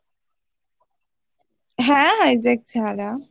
হ্যাঁ Vizag ছাড়া